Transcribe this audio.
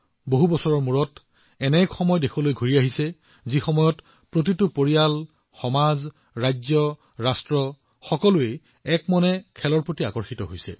বহু বছৰৰ পিছত দেশখনত এনে এটা সময় আহিছে যে পৰিয়াল সমাজ ৰাজ্য ৰাষ্ট্ৰ নিৰ্বিশেষে সকলোৱে এক মনেৰে যোগদান কৰিছে